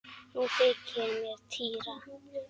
Nú þykir mér týra!